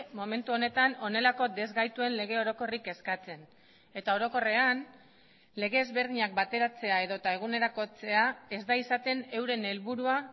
momentu honetan honelako desgaituen lege orokorrik eskatzen eta orokorrean lege ezberdinak bateratzea edota egunerakotzea ez da izaten euren helburua